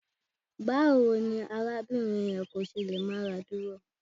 Báwo ni arábìnrin yẹn kò ṣe lè máradúró?